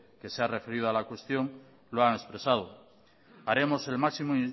que se ha referido a la cuestión lo han expresado haremos el máximo